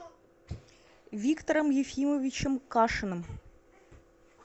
виктором ефимовичем кашиным